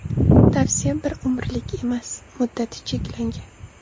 Tavsiya bir umrlik emas, muddati cheklangan.